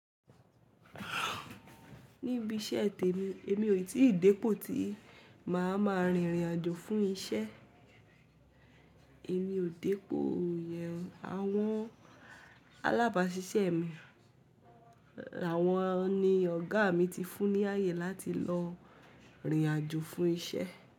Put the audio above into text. Níbi iṣẹ́ tèmi, èmi ò tí ì dépo tí màá ma rìnrìn àjò fún iṣẹ́. Èmi ò dépo yẹn. Àwọn alábàásisẹ́ mi, àwọn ni ọ̀gá mi ti fún ní ààyè láti lọ rìn àjò fún iṣẹ́.